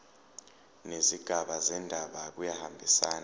nezigaba zendaba kuyahambisana